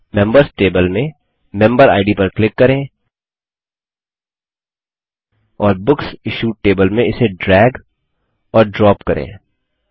members table में member ID पर click करें और बुक्स इश्यूड टेबल में इसे ड्रैग और ड्रॉप करें